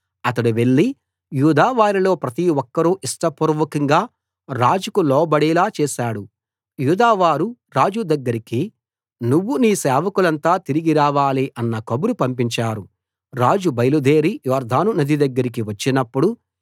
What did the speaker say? అతడు వెళ్లి యూదా వారిలో ప్రతి ఒక్కరూ ఇష్టపూర్వకంగా రాజుకు లోబడేలా చేశాడు యూదావారు రాజు దగ్గరికి నువ్వు నీ సేవకులంతా తిరిగి రావాలి అన్న కబురు పంపించారు రాజు బయలుదేరి యొర్దాను నది దగ్గరికి వచ్చినప్పుడు